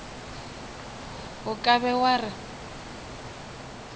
o ka be wa re